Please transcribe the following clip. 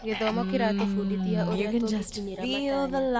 Gĩthomo kĩratũbundithia ũrĩa tũngĩkinyĩra matanya.